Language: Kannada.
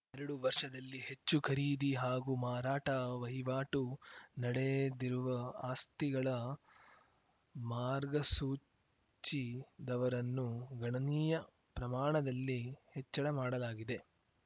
ಎರಡು ವರ್ಷದಲ್ಲಿ ಹೆಚ್ಚು ಖರೀದಿ ಹಾಗೂ ಮಾರಾಟ ವಹಿವಾಟು ನಡೆದಿರುವ ಆಸ್ತಿಗಳ ಮಾರ್ಗಸೂಚಿ ದವರನ್ನು ಗಣನೀಯ ಪ್ರಮಾಣದಲ್ಲಿ ಹೆಚ್ಚಳ ಮಾಡಲಾಗಿದೆ